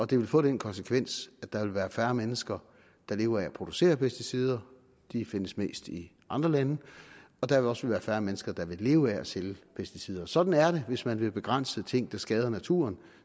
det vil få den konsekvens at der vil være færre mennesker der lever af at producere pesticider de findes mest i andre lande og der vil også være færre mennesker der vil leve af at sælge pesticider sådan er det hvis man vil begrænse ting der skader naturen